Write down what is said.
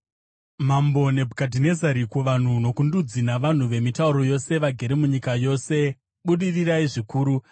Mambo Nebhukadhinezari: Kuvanhu, nokundudzi navanhu vemitauro yose, vagere munyika yose: Budirirai zvikuru!